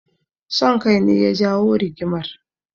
Son kai ne ya jawo rigimar.